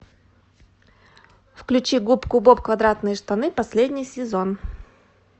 включи губку боб квадратные штаны последний сезон